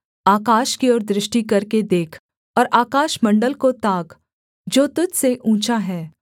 आकाश की ओर दृष्टि करके देख और आकाशमण्डल को ताक जो तुझ से ऊँचा है